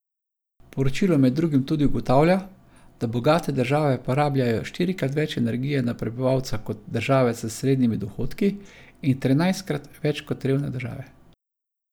Poročilo med drugim tudi ugotavlja, da bogate države porabljajo štirikrat več energije na prebivalca kot države s srednjimi dohodki in trinajstkrat več kot revne države.